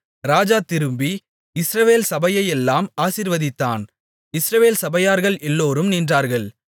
ராஜா திரும்பி இஸ்ரவேல் சபையையெல்லாம் ஆசீர்வதித்தான் இஸ்ரவேல் சபையார்கள் எல்லோரும் நின்றார்கள்